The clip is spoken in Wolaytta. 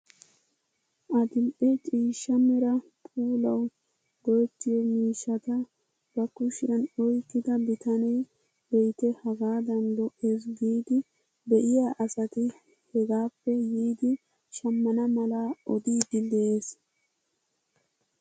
Adil'e ciishsha mera puulawu go"ettiyoo miishshata ba kushiyaan oyqqida bitanee be'ite hagaadan lo"ees giidi be'iya asati hegaappe yiidi shammana mala odiidi de'ees!